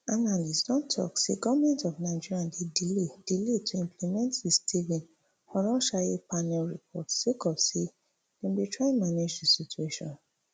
analyst don tok say goment of nigeria dey delay delay to implement di stephen oronsaye panel report sake of say dem dey try manage di situation